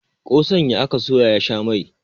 kosan ya aka soya ya sha Mai